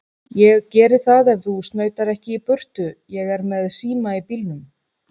Ég geri það ef þú snautar ekki í burtu. ég er með síma í bílnum.